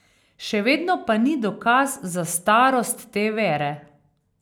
Še vedno pa ni dokaz za starost te vere.